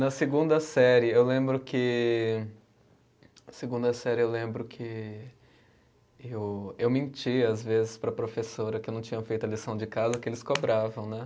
Na segunda série, eu lembro que. Segunda série, eu lembro que, eu eu mentia, às vezes, para a professora que eu não tinha feito a lição de casa, que eles cobravam, né?